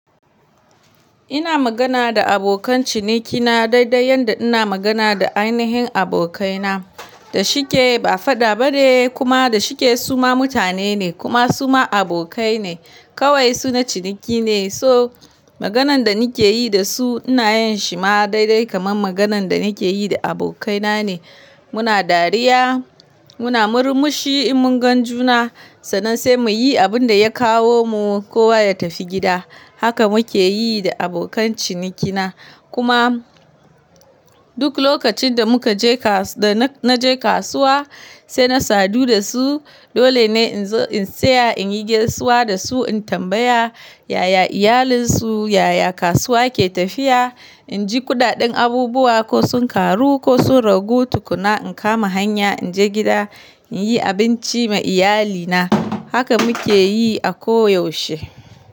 Ina magana da abokan cinikina dai dai yanda ina magana da ainihin abokaina. Da shike ba fada ba ne kuma da shike su ma mutane ne kuma su ma abokai ne. Kawai su na ciniki ne, so maganan da nike yi da su ina yin shi ma dai dai kamar maganan da nike yi da abokaina ne. Muna dariya, muna murmushi in mun gan juna, sannan sai muyi abun da ya kawo mu kowa ya tafi gida. Haka muke yi da abokan cinikina. Kuma duk lokacin da muka je kasu-- da na je kasuwa sai na sadu da su. Dole ne in zo in saya, in yi gaisuwa da su, in tambaya yaya iyalinsu, yaya kasuwa ke tafiya. In ji ƙudaɗen abubuwa, ko sun karu, ko sun ragu tukuna. In kama hanya, in je gida, in yi abinci ma iyalina. Haka muke yi a ko yaushe.